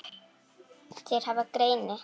Þeir hafa greini